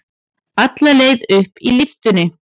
Alla leið upp í lyftunni.